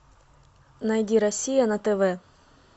найди россия на тв